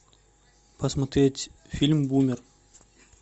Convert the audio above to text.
посмотреть фильм бумер